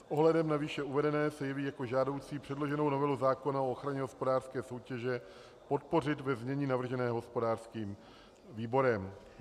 S ohledem na výše uvedené se jeví jako žádoucí předloženou novelu zákona o ochraně hospodářské soutěže podpořit ve znění navrženém hospodářským výborem.